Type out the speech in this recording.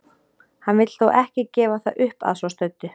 Hann vill þó ekki gefa það upp að svo stöddu.